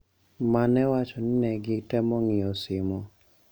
Ma newacho ni ne gitemo ng'iyo simo.